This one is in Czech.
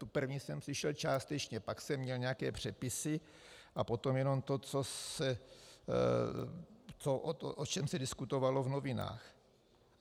Tu první jsem slyšel částečně, pak jsem měl nějaké přepisy a potom jenom to, o čem se diskutovalo v novinách.